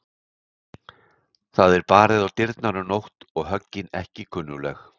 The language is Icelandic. Það er barið á dyrnar um nótt og höggin ekki kunnugleg.